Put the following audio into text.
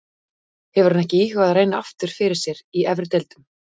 Hefur hann ekki íhugað að reyna aftur fyrir sér í efri deildum?